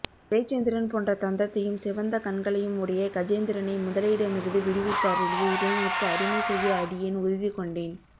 பிறைச்சந்திரன் போன்ற தந்தத்தையும் சிவந்த கண்களையும் உடைய கஜேந்திரனை முதலையிடமிருந்து விடுவித்தருளிய இறைவனுக்கு அடிமை செய்ய அடியேன் உறுதி கொண்டேன்